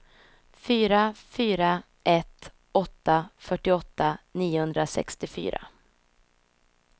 fyra fyra ett åtta fyrtioåtta niohundrasextiofyra